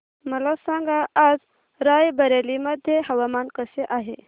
मला सांगा आज राय बरेली मध्ये हवामान कसे आहे